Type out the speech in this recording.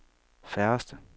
færreste